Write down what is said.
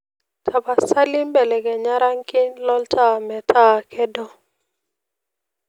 tapasali belekenya rangin lo ntaa meeta kedo